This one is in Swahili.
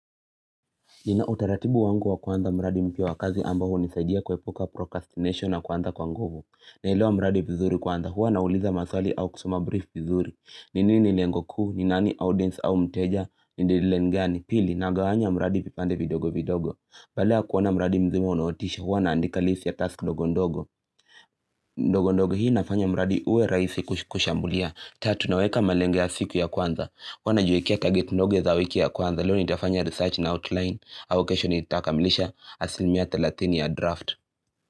Nina utaratibu wangu wa kwanza mradi mpya wakazi ambao hunisaidia kwa kuepuka procrastination na kuanza kwa nguvu. Naelewa mradi vizuri kwanza huwa na uliza maswali au kusoma brief vizuri. Ni nini lengo kuu ni nani audience au mteja ni dilengani pili na gawanya mradi vipande vidogo vidogo. Badala ya kuona mradi mzima unootisha huwa na andika list ya task ndogo ndogo. Ndogo ndogo hii nafanya mradi uwe rahisi kusha kushambulia. Tatu naweka malenge ya siku ya kwanza. Huwa najiwekea target ndogo za wiki ya kwanza leo nitafanya research na outline au kesho nitakamilisha asilmia thelathini ya draft.